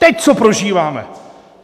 Teď, co prožíváme!